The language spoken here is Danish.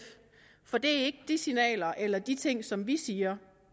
for det er ikke de signaler eller de ting som vi siger